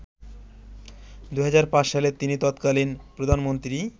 ২০০৫ সালে তিনি তৎকালীন প্রধানমন্ত্রী